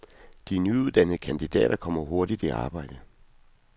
De nyuddannede kandidater kommer hurtigt i arbejde.